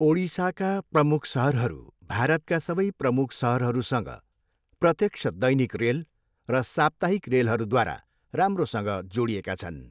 ओडिसाका प्रमुख सहरहरू भारतका सबै प्रमुख सहरहरूसँग प्रत्यक्ष दैनिक रेल र साप्ताहिक रेलहरूद्वारा राम्रोसँग जोडिएका छन्।